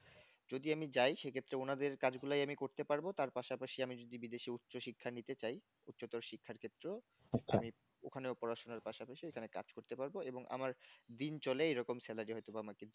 যদি আমি যাই সে ক্ষেত্রে ওনাদের কাজ গুলাই আমি করতে পারবো তার পাশাপাশি আমি যদি বিদেশে উচ্চশিক্ষা নিতে চাই। উচ্চতার শিক্ষার ক্ষেত্রে ও আমি ওখানেও পড়াশোনা পাশাপাশি এখানে কাজ করতে পারব। এবং আমার দিন চলে এরকম salary হয়তোবা আমাকে